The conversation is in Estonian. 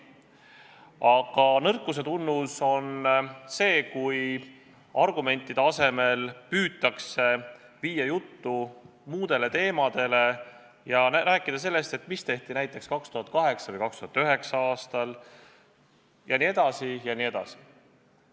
Aga nõrkuse tunnus on see, kui argumentide asemel püütakse viia juttu muudele teemadele ja rääkida sellest, mida tehti näiteks 2008. või 2009. aastal, jne.